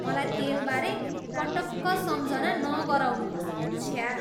मलाई तेलबारे पटक्क सम्झना नगराउनुहोस्, छ्या..।